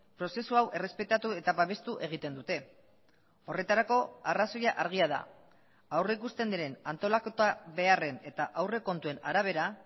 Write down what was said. prozesu hau errespetatu eta babestu egiten dute horretarako arrazoia argia da aurrikusten diren antolaketa beharren eta aurrekontuen arabera